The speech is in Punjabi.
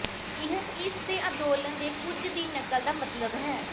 ਇਹ ਇਸ ਦੇ ਅੰਦੋਲਨ ਦੇ ਕੁਝ ਦੀ ਨਕਲ ਦਾ ਮਤਲਬ ਹੈ